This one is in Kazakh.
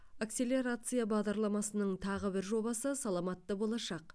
акселерация бағдарламасының тағы бір жобасы саламатты болашақ